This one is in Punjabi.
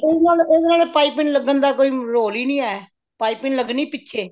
ਇਹਨਾ ਦੇ ਪਾਈਪਿੰਨ ਲੱਗਣ ਦਾ ਕੋਈ ਰੋਲ ਹੀ ਨਹੀਂ ਹੈ ਪਾਈਪਿੰਨ ਲੱਗਣੀ ਪਿੱਛੇ